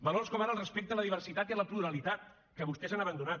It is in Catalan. valors com ara el respecte a la diversitat i a la pluralitat que vostès han abandonat